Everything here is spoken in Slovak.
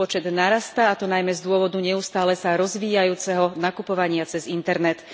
Ich počet narastá, a to najmä z dôvodu neustále sa rozvíjajúceho nakupovania cez internet.